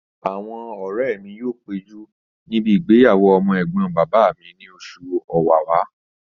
Àwọn ọ̀rẹ́ mi yóò péjú níbi ìgbéyàwó ọmọ ẹ̀gbọ́n bàbá mi ní oṣù ọ̀wàwà